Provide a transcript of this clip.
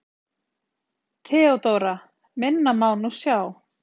THEODÓRA: Minna má nú sjá.